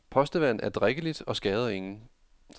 Postevand er drikkeligt og skader ingen.